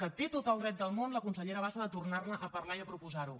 que té tot el dret del món la consellera bassa de tornar ne a parlar i de proposar ho